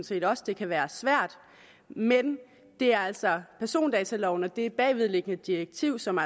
set også det kan være svært men det er altså persondataloven og det bagvedliggende direktiv som